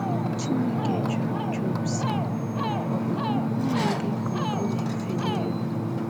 Chineke jụrụ Job sị: “Ọ bụ n’okwu ọnụ gị ka ugo na-efeli elu? ”